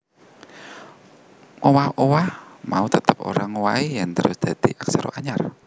Owah owah mau tetep ora ngowahi yèn terus dadi aksara anyar